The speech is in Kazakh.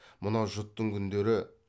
мынау жұттың күндері